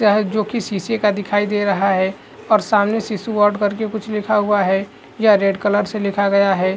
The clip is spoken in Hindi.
जोकि शीशे का दिखाई दे रहा हैं और सामने शिशु वार्ड करके कुछ लिखा हुआ है यह रेड कलर से लिखा गया है।